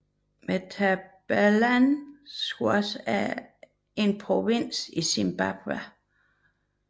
Matabeleland South er en provins i Zimbabwe